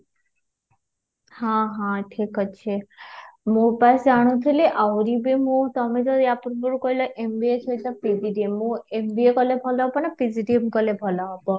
ହଁ ହଁ ଠିକ ଅଛି ମୁଁ ବସ ଜାଣୁଥିଲି ତମେ ଆହୁରି ବି ମୁ ତମେତ ୟା ପୂର୍ବରୁ କହିଲା କି MBA ସହିତ PGDM , ମୁଁ MBA କରିଲେ ଭଲ ହବ ନା PGDM କଲେ ଭଲ ହବ,